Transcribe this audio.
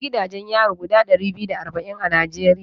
Akwai gidajen yari guda ɗari biyu da arba'in a Najeriya